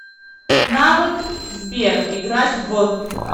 навык сбер играть в